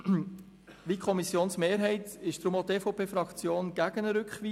Wie die Kommissionsmehrheit ist deshalb auch die EVP-Fraktion gegen eine Rückweisung.